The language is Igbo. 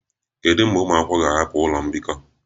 Kedu mgbe ụmụ akwụkwọ ga-ahapụ ụlọ mbikọ?